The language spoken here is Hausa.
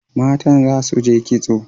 Matan za su je kitso.